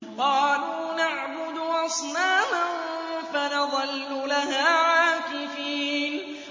قَالُوا نَعْبُدُ أَصْنَامًا فَنَظَلُّ لَهَا عَاكِفِينَ